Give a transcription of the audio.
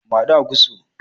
Mu haɗu a gusto